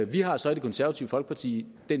vi har så i det konservative folkeparti